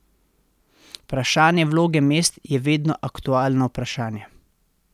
Vprašanje vloge mest je vedno aktualno vprašanje.